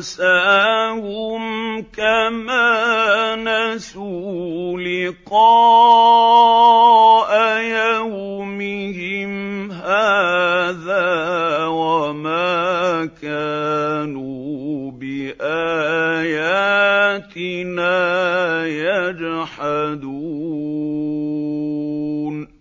نَنسَاهُمْ كَمَا نَسُوا لِقَاءَ يَوْمِهِمْ هَٰذَا وَمَا كَانُوا بِآيَاتِنَا يَجْحَدُونَ